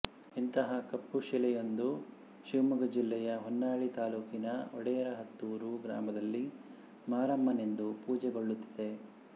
ಇಂತಹ ಕಪ್ಪು ಶಿಲೆಯೊಂದು ಶಿವಮೊಗ್ಗ ಜೆಲ್ಲೆಯ ಹೊನ್ನಾಳಿ ತಾಲೂಕಿನ ಒಡೆಯರಹತ್ತೂರು ಗ್ರಾಮದಲ್ಲಿ ಮಾರಮ್ಮನೆಂದು ಪೂಜೆಗೊಳ್ಳುತ್ತಿದೆ